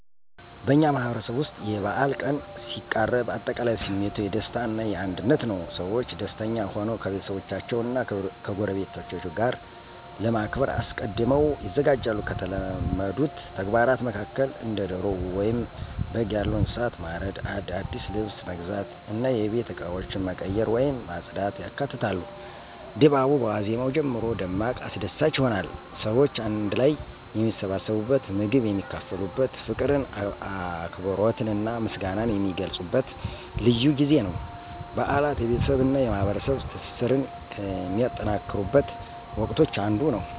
በእኛ ማህበረሰብ ውስጥ የበዓል ቀን ሲቃረብ አጠቃላይ ስሜቱ የደስታ እና የአንድነት ነው። ሰዎች ደስተኛ ሆነው ከቤተሰቦቻቸው እና ከጎረቤቶቻቸው ጋር ለማክበር አስቀድመው ይዘጋጃሉ። ከተለመዱት ተግባራት መካከል እንደ ዶሮ ወይም በግ ያሉ እንስሳትን ማረድ፣ አዲስ ልብስ መግዛት እና የቤት እቃዎችን መቀየር ወይም ማጽዳት ያካትታሉ። ድባቡ በዋዜማው ጀምሮ ደማቅ አስደሳች ይሆናል። ሰዎች አንድ ላይ የሚሰባሰቡበት፣ ምግብ የሚካፈሉበት፣ ፍቅርን፣ አክብሮትንና ምስጋናን የሚገልጹበት ልዩ ጊዜ ነው። በዓላት የቤተሰብ እና የማህበረሰብ ትስስርን ከሚጠናከሩበት ወቅቶች አንዱ ነው።